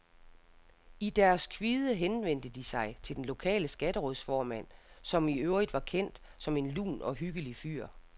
I deres kvide henvendte de sig til den lokale skatterådsformand, som i øvrigt var kendt som en lun og hyggelig fyr.